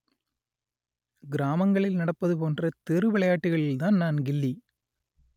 கிராமங்களில் நடப்பதுபோன்ற தெரு விளையாட்டுகளில் தான் நான் கில்லி